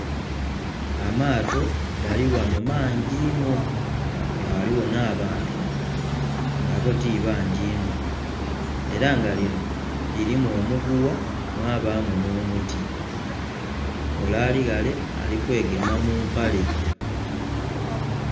Amaato gali ghano mangi inho nga ghaliwo na bantu nga bo tibangii inho era lino lirimu omuguwa mwabamu no'muti ole ali ghale alikwegema mumpale